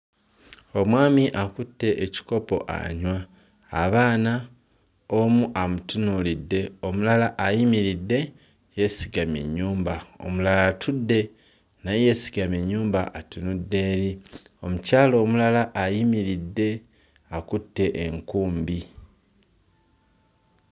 Omwami akutte ekikopo anywa, abaana omu amutunuulidde, omualala ayimiridde yeesigamye ennyumba, omulala atudde naye yeesigamye ennyumba atunudde eri, omukyala omulala ayimiridde akutte enkumbi.